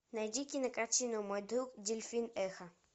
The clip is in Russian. найди кинокартину мой друг дельфин эхо